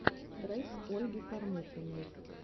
трек ольги кормухиной